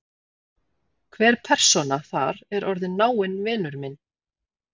Hver persóna þar er orðinn náinn vinur minn.